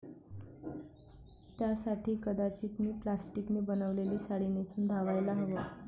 त्यासाठी कदाचित मी प्लास्टिकने बनवलेली साडी नेसून धावायला हवं'.